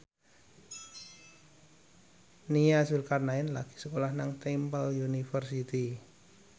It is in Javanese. Nia Zulkarnaen lagi sekolah nang Temple University